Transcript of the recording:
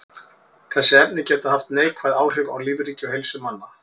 Þessi efni geta haft neikvæð áhrif á lífríki og heilsu manna.